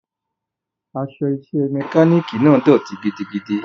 Aṣọ iṣẹ́ mọkálíìkì náà dọ̀tí gidigidi.